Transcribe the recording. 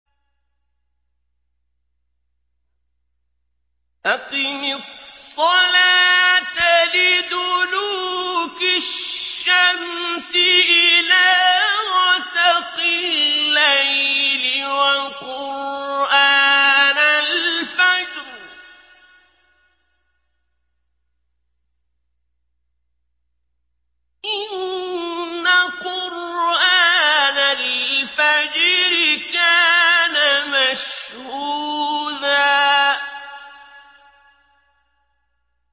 أَقِمِ الصَّلَاةَ لِدُلُوكِ الشَّمْسِ إِلَىٰ غَسَقِ اللَّيْلِ وَقُرْآنَ الْفَجْرِ ۖ إِنَّ قُرْآنَ الْفَجْرِ كَانَ مَشْهُودًا